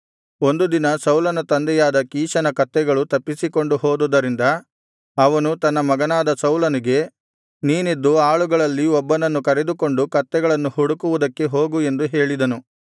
ಒಂದು ದಿನ ಸೌಲನ ತಂದೆಯಾದ ಕೀಷನ ಕತ್ತೆಗಳು ತಪ್ಪಿಸಿಕೊಂಡು ಹೋದುದರಿಂದ ಅವನು ತನ್ನ ಮಗನಾದ ಸೌಲನಿಗೆ ನೀನೆದ್ದು ಆಳುಗಳಲ್ಲಿ ಒಬ್ಬನನ್ನು ಕರೆದುಕೊಂಡು ಕತ್ತೆಗಳನ್ನು ಹುಡುಕುವುದಕ್ಕೆ ಹೋಗು ಎಂದು ಹೇಳಿದನು